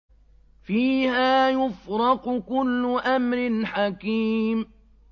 فِيهَا يُفْرَقُ كُلُّ أَمْرٍ حَكِيمٍ